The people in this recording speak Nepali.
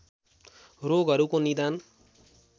रोगहरूको निदान